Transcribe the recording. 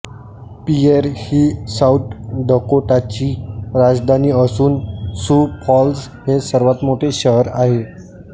Pierre ही South डकोटाची राजधानी असून सू फॉल्स हे सर्वात मोठे शहर आहे